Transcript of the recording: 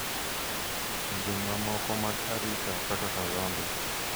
Pinje mamoko mag Arika kaka Zambia,